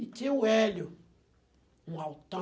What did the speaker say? E tinha o Hélio, um altão.